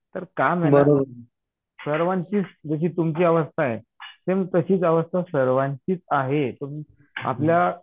तर का सर्वांचीच जशी तुमची अवस्था आहे सेम तशीच अवस्था सर्वांचीच आहे आपल्या